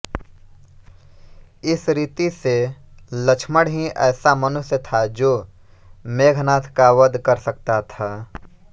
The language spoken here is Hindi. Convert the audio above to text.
इस रीति से लक्ष्मण ही ऐसा मनुष्य था जो मेघनाद का वध कर सकता था